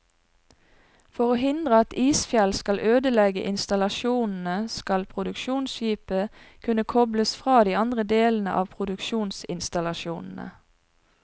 For å hindre at isfjell skal ødelegge installasjonene, skal produksjonsskipet kunne kobles fra de andre delene av produksjonsinstallasjonene.